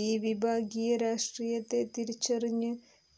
ഈ വിഭാഗീയ രാഷ്ട്രീയത്തെ തിരിച്ചറിഞ്ഞ്